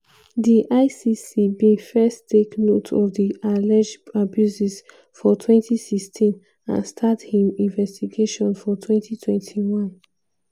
di icc bin first take note of di alleged abuses for 2016 and start im investigation for 2021.